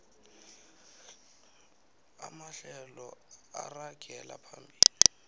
amahlelo aragela phambili